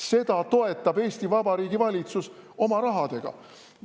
Seda toetab Eesti Vabariigi valitsus oma rahaga.